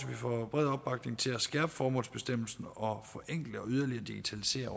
får bred opbakning til at skærpe formålsbestemmelsen og forenkle og yderligere digitalisere